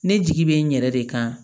Ne jigi bɛ n yɛrɛ de kan